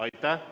Aitäh!